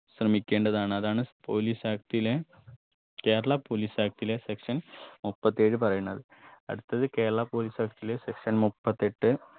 ശ്രമിക്കേണ്ടതാണ് അതാണ് police act ലെ Kerala police act ലെ section മുപ്പത്തേഴ് പറയണത് അടുത്തത് കേരള police act ലെ section മുപ്പത്തെട്ട്